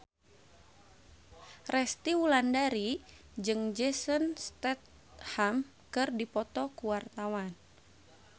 Resty Wulandari jeung Jason Statham keur dipoto ku wartawan